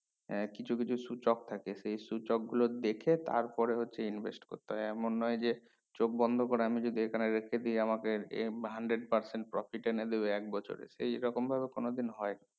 হ্যাঁ কিছু কিছু সূচক থাকে সেই সূচক গুলো দেখে তারপরে হচ্ছে invest করতে হয় এমন নয় যে চোখ বন্ধ করে আমি যদি এখানে রেখে দেয় আমাকে এই hundred percent এনে দেবে এক বছরে এই রকম ভাবে কোনো দিন হয় না